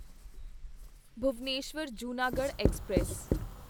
Bhubaneswar Junagadh express